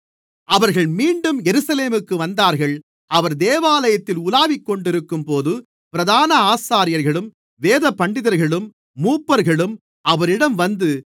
அவர்கள் மீண்டும் எருசலேமுக்கு வந்தார்கள் அவர் தேவாலயத்திலே உலாவிக்கொண்டிருக்கும்போது பிரதான ஆசாரியர்களும் வேதபண்டிதர்களும் மூப்பர்களும் அவரிடம் வந்து